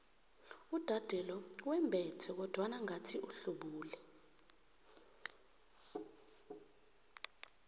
uudade lo wembethe kodwana ngathi uhlubule